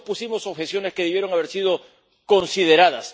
Muchos pusimos objeciones que debieron haber sido consideradas.